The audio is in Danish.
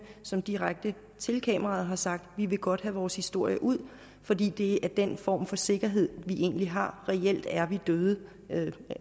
som direkte til kameraet har sagt vi vil godt have vores historie ud fordi det er den form for sikkerhed vi egentlig har reelt er vi døde